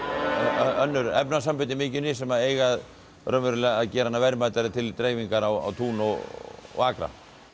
önnur efnasambönd í mykjunni sem eiga raunverulega að gera hana verðmætari til dreifingar á tún og og akra